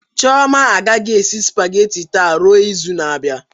Chioma agaghị esi spageti taa ruo izu na-abịa